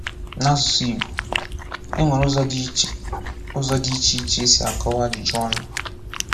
N’asụsụ Igbo, e nwere ụzọ dị iche ụzọ dị iche iche e si akọwa ajụjụ ọnụ.